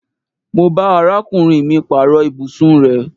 Mo bá arákùnrin mì paaro ibùsùn rẹ